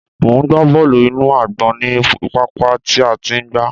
Mò ń gba bọ́ọ́lù inú àgbọ̀n ní pápá tí a ti ń gba.